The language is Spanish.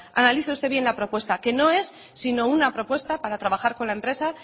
analice usted bien la propuesta que no es sino una propuesta para trabajar con la empresa